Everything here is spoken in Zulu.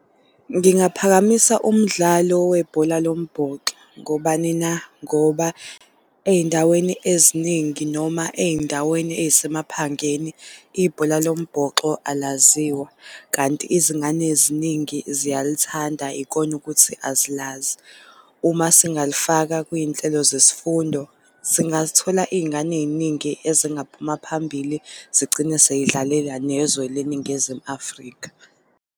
Ngingaphakamisa umdlalo webhola lombhoxo. Ngobani na? Ngoba ey'ndaweni eziningi noma ey'ndaweni ey'semaphangeni ibhola lo mbhoxo alaziwa. Kanti izingane eziningi ziyalithanda ikona ukuthi azilazi. Uma singalifaka kuy'nhlelo zesifundo, singalithola iy'ngane ey'ningi ezingaphuma phambili zigcine sey'dlalela nezwe le Ningizimu Afrika.